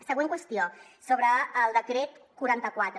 següent qüestió sobre el decret quaranta quatre